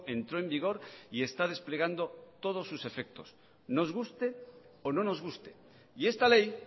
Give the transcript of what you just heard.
entró en vigor y está desplegando todos sus efectos nos guste o no nos guste y esta ley